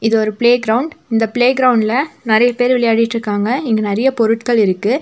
இது ஒரு playground இந்த பிளே கிரவுண்ட்ல நறைய பேர் விளையாடிட்ருக்காங்க இங்க நறைய பொருட்கள் இருக்கு.